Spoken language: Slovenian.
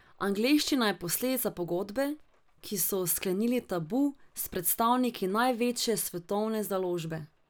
Angleščina je posledica pogodbe, ki so jo sklenili Tabu s predstavniki največje svetovne založbe.